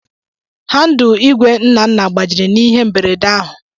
Handul Igwe Nnanna gbajiri na ihe mberede ahụ.